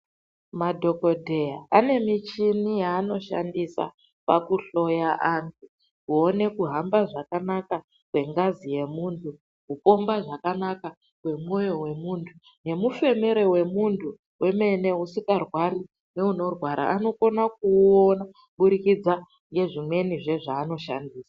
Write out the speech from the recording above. Madhokodheya ane michhini yeanoshandisa pakuhloya anthu, kuone kuhamba zvakanaka kwengazi, yemunyu kupomba zvakanaka kwemwoyo wemunthu nemufemere wemunthu wemene usikarwari neunorwara vanokona kuuona kubudikidze ngezvimwenizve zvaanoshandisa.